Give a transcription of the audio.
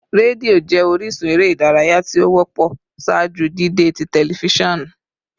Redio jẹ orisun ere idaraya ti o wọpọ ṣaaju dide ti tẹlifisiọnu